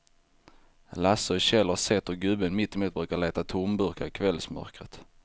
Lasse och Kjell har sett hur gubben mittemot brukar leta tomburkar i kvällsmörkret.